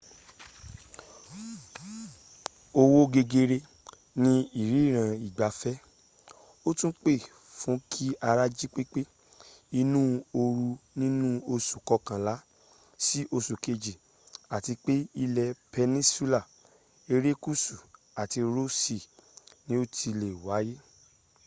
owó gegere ni ìrìnnà ìgbafẹ́ ó tún pè fún kí ara jí pépé inú oru nínú oṣù kọkànlá sí oṣù keji àti pé ilẹ̀ peninsula erékùsù àti ross sea ni ó ti le wáyé